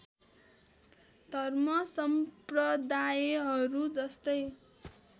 धर्म सम्प्रदायहरू जस्तै